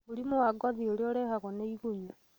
Mũrimũ wa ngothi ũrĩa ũrehagwo nĩ igunyũ